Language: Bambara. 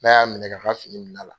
N'a y'a minɛ k'a ka fini minɛ a la.